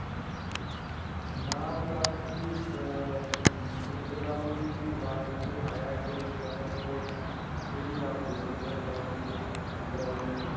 ਨਾਮ, ਬਸ ਜੀ ਅਅ ਇੱਕ ਦਮ ਹੀ ਦਿਮਾਗ 'ਚ ਆਇਆ ਸੀ 'ਤੇ ਮੈਂ ਕਿਹਾ ਚਲੋ ਇਹੀ ਨਾਮ ਦੇ ਦਿੰਦੇ ਹਾਂ browny, browny.